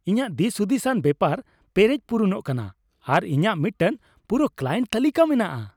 ᱤᱧᱟᱹᱜ ᱫᱤᱥᱦᱩᱫᱤᱥᱟᱱ ᱵᱮᱯᱟᱨ ᱯᱮᱨᱮᱡ ᱯᱩᱨᱩᱱᱚᱜ ᱠᱟᱱᱟ ᱟᱨ ᱤᱧᱟᱹᱜ ᱢᱤᱫᱴᱟᱝ ᱯᱩᱨᱟᱹ ᱠᱞᱟᱭᱮᱱᱴ ᱛᱟᱹᱞᱤᱠᱟ ᱢᱮᱱᱟᱜᱼᱟ ᱾